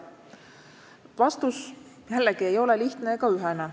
Vastus jällegi ei ole lihtne ega ühene.